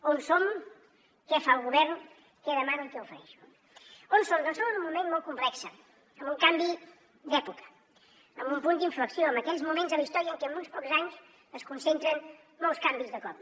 on som què fa el govern què demano i què ofereixo on som doncs som en un moment molt complex amb un canvi d’època amb un punt d’inflexió en aquells moments de la història en què en uns pocs anys es concentren molts canvis de cop